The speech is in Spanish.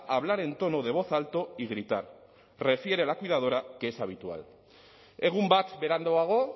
hablar en tono de voz alto y gritar refiere la cuidadora que es habitual egun bat beranduago